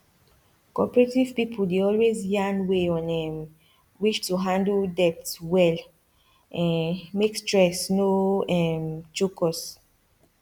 cooperative pipu dey always yarn way on um which to handle debt well um make stress no um choke us